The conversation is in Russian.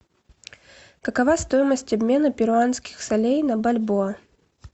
какова стоимость обмена перуанских солей на бальбоа